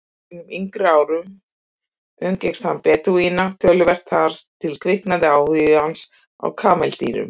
Á sínum yngri árum umgekkst hann Bedúína töluvert og þar kviknaði áhugi hans á kameldýrum.